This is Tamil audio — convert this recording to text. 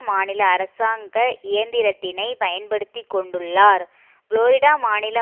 மாநில அரசாங்க இயந்திரத்தினை பயன்படுத்தி கொண்டுள்ளார் புளோரிடா மாநில